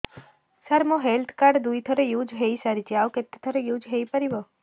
ସାର ମୋ health card ଦୁଇ ଥର ୟୁଜ଼ ହୈ ସାରିଛି ଆଉ କେତେ ଥର ୟୁଜ଼ ହୈ ପାରିବ